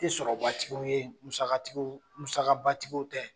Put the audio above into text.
Te sɔrɔbatigiw ye musakatigiw musabatigiw tɛ